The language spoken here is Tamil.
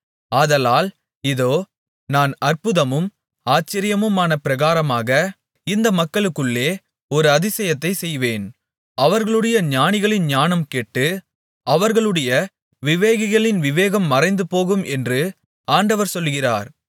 ஆதலால் இதோ நான் அற்புதமும் ஆச்சரியமுமான பிரகாரமாக இந்த மக்களுக்குள்ளே ஒரு அதிசயத்தைச் செய்வேன் அவர்களுடைய ஞானிகளின் ஞானம் கெட்டு அவர்களுடைய விவேகிகளின் விவேகம் மறைந்துபோகும் என்று ஆண்டவர் சொல்கிறார்